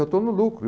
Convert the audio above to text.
Eu estou no lucro.